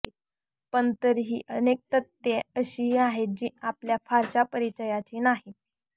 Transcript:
पण तरीही अनेक तथ्ये अशीही आहेत जी आपल्या फारश्या परिचयाची नाहीत